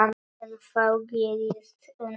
En þá gerðist undrið.